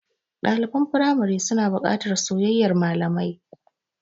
Ɗaliban firamari suna buƙatar soyayyar malamai.